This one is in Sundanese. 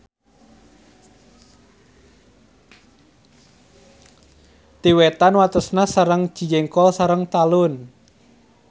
Ti wetan watesna sareng Cijengkol sareng Talun.